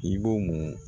I b'o mun